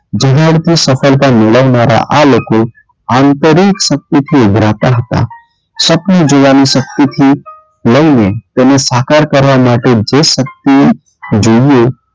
જેનાં અર્થે સફળતા મેળવનારા આ લોકો આંતરિક શક્તિથી ઉભરાતા હતાં સપનું જોવાની શક્તિથી લઈને તેને સાકાર કરવાં માટે જે શક્તિ જોઈએ,